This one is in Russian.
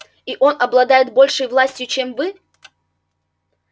и он обладает большей властью чем вы